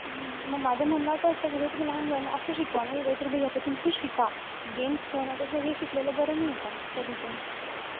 हम्म म माझं म्हणणं असं असतं, कि तुम्ही लहान मुलांना असं शिकवा ना कि काहीतरी भाई याच्यातून शिका. games खेळण्यापेक्षा हे शिकलेलं बरं नाईये का कधीपण?